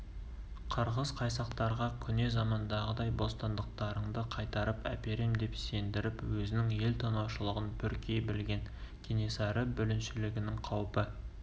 қырғыз-қайсақтарға көне замандағыдай бостандықтарыңды қайтарып әперем деп сендіріп өзінің ел тонаушылығын бүркей білген кенесары бүліншілігінің қаупі